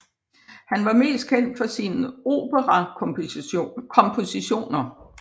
Han var mest kendt for sine opera kompositioner